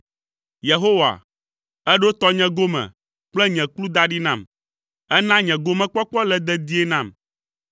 Yehowa, èɖo tɔnye gome kple nye kplu da ɖi nam; èna nye gomekpɔkpɔ le dedie nam.